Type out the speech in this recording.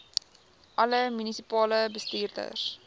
alle munisipale bestuurders